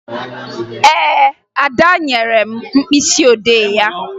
Ee, Ada nyere m mkpịsịodee ya